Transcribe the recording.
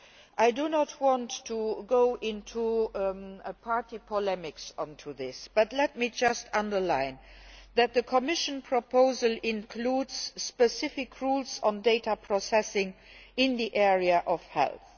I do not want to go into party polemics on this, but let me just stress that the Commission proposal includes specific rules on data processing in the area of health.